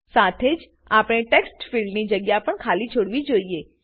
સાથે જ આપણે ટેક્સ્ટફીલ્ડની જગ્યા પણ ખાલી છોડવી જોઈએ